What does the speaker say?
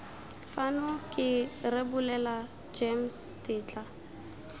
fano ke rebolela gems tetla